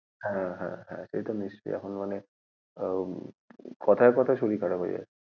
হ্যাঁ হ্যাঁ হ্যাঁ এটা নিশ্চয়ই এটা অনেক আহ কথায় কথায় শরীর খারাপ হয়ে যাচ্ছে।